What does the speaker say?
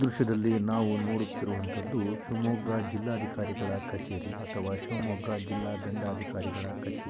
ದೃಶ್ಯದಲ್ಲಿ ನಾವು ನೋಡುತ್ತಿರುವಂಥದ್ದು ಶಿವಮೊಗ್ಗ ಜಿಲ್ಲಾಧಿಕಾರಿಗಳ ಕಚೇರಿ ಅಥವಾ ಶಿವಮೊಗ್ಗ ಜಿಲ್ಲಾದಂಡಾಧಿಕಾರಿಗಳ ಕಛೇರಿ.